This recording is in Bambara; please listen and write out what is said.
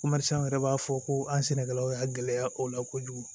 yɛrɛ b'a fɔ ko an sɛnɛkɛlaw y'a gɛlɛya o la kojugu